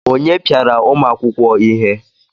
Onye piara ụmụ akwụkwọ ihe?